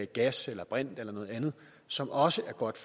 gas eller brint eller noget andet som også er godt